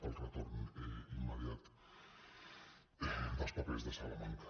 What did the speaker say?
pel retorn immediat dels papers de salamanca